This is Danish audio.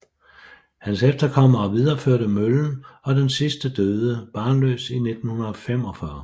Hans efterkommere videreførte møllen og den sidste døde barnløs i 1945